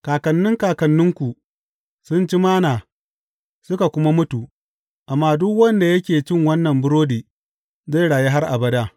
Kakannin kakanninku sun ci Manna suka kuma mutu, amma duk wanda yake cin wannan burodi zai rayu har abada.